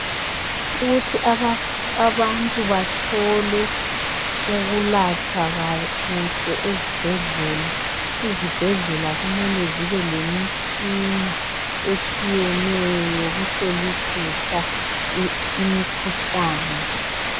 Ukuthi abantu bathole ukuhlatshwa kuhle ezibhedlela, iZibhedlela kumele zibe lemitshina etshiyeneyo yokuhlolisisa imikhuhlane.